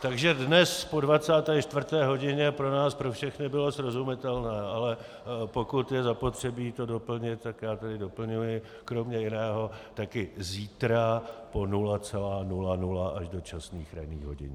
Takže dnes po 24. hodině pro nás pro všechny bylo srozumitelné, ale pokud je zapotřebí to doplnit, tak já tedy doplňuji kromě jiného, také zítra po 00.00 až do časných ranních hodin.